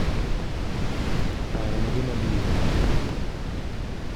paro mage mabiro